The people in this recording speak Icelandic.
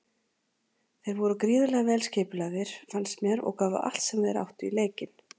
Þeir voru gríðarlega vel skipulagðir fannst mér og gáfu allt sem þeir áttu í leikinn.